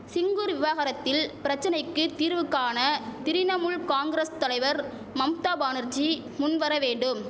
சிங்குர் விவகாரத்தில் பிரச்சனைக்கு தீர்வு காண திரிணமுல் காங்கரஸ் தலைவர் மம்தா பானர்ஜீ முன் வரவேண்டும்